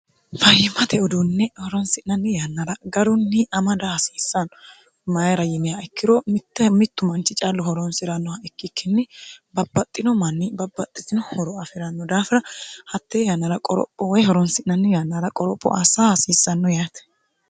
fayyimate udunne horonsi'nanni yannara garunni amada hasiissanno mayira yiniha ikkiro mitte mittu manchi callu horonsi'rannoha ikkikkinni babbaxxino manni babbaxxitino huro afi'ranno daafira hattee yannara qoropho woy horonsi'nanni yannara qoropho assa hasiissanno yaate